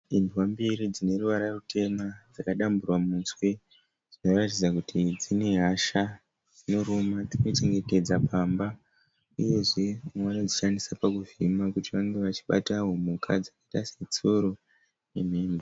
Imbwa mbiri dzine ruvara rutema dzakadamburwa muswe, dzinoratidza kuti dzine hasha dzinoruma dzinochengetedza pamba, uyezve vamwe vanodzishandisa pakuvhima kuti vange vachibatawo mhuka dzakaita setsuro nemhembwe.